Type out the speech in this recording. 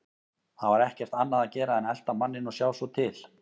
Það var ekkert annað að gera en að elta manninn og sjá svo til.